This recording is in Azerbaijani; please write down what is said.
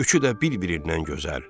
Üçü də bir-birindən gözəl.